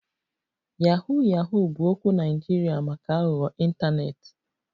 Yahoo Yahoo bụ okwu Naịjirịa maka aghụghọ ịntanetị